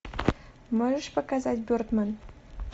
можешь показать бердмэн